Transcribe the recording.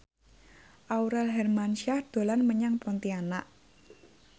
Aurel Hermansyah dolan menyang Pontianak